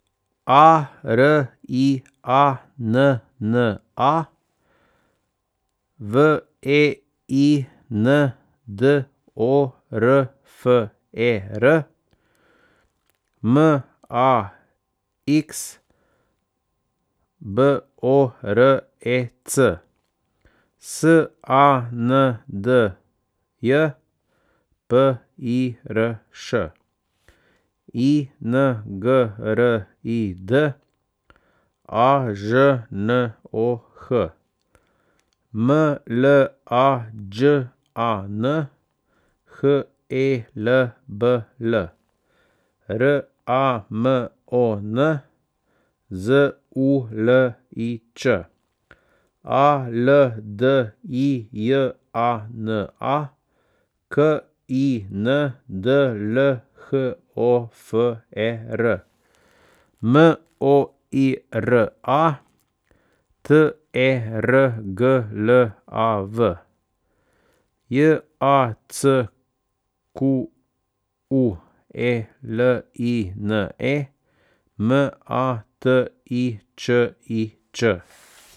A R I A N N A, W E I N D O R F E R; M A X, B O R E C; S A N D J, P I R Š; I N G R I D, A Ž N O H; M L A Đ A N, H E L B L; R A M O N, Z U L I Ć; A L D I J A N A, K I N D L H O F E R; M O I R A, T E R G L A V; J A C Q U E L I N E, M A T I Č I Č.